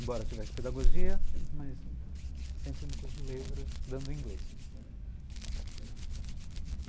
Embora tivesse pedagogia, mas sempre no curso de letras, dando inglês.